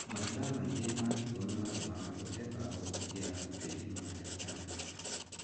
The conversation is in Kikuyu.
Mahiga maingí ma higo nĩ matũmaga ũte mbao ũngiaga oteithio wa dagĩtarĩ.